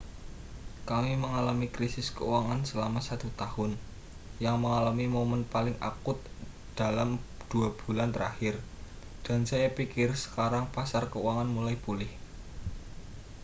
kami mengalami krisis keuangan selama satu tahun yang mengalami momen paling akut dalam dua bulan terakhir dan saya pikir sekarang pasar keuangan mulai pulih